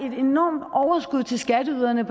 et enormt overskud til skatteyderne